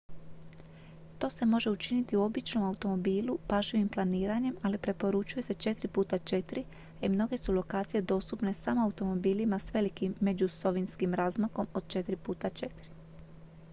to se može učiniti u običnom automobilu pažljivim planiranjem ali preporučuje se 4 x 4 a i mnoge su lokacije dostupne samo automobilima s velikim međuosovinskim razmakom od 4 x 4